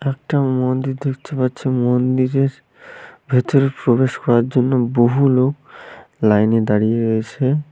এটা একটা মন্দির দেখতে পাচ্ছি মন্দিরের ভেতরে প্রবেশ করার জন্য বহু লোক লাইনে দাঁড়িয়ে রয়েছে।